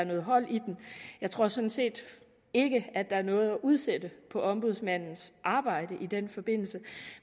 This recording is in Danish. noget hold i den jeg tror sådan set ikke at der er noget at udsætte på ombudsmandens arbejde i den forbindelse